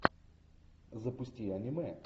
запусти аниме